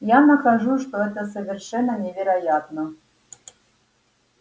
я нахожу что это совершенно невероятно